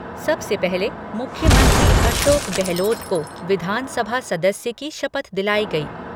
सबसे पहले मुख्यमंत्री, अशोक गहलोत को विधानसभा सदस्य की शपथ दिलाई गई।